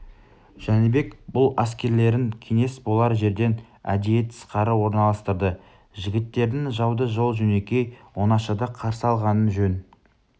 жәнібек бұл әскерлерін кеңес болар жерден әдейі тысқары орналастырды жігіттерінің жауды жол-жөнекей оңашада қарсы алғанын жөн